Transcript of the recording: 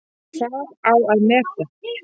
Hvað á að meta?